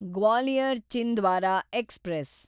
Gwalior Chhindwara express